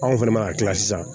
Anw fɛnɛ ma ka kila sisan